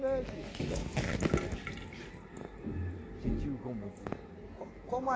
ou segurava? Sentiu como? Alguma diferença... Como a